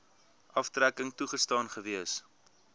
aftrekking toegestaan gewees